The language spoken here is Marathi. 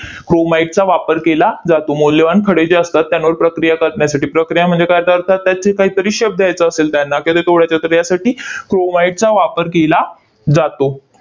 Chromite चा वापर केला जातो, मौल्यवान खडे जे असतात त्यांवर प्रक्रिया करण्यासाठी. प्रक्रिया म्हणजे काय? याचा अर्थ त्याचे काहीतरी शब्द येत असेल त्यांना किंवा तर यासाठी chromite चा वापर केला जातो.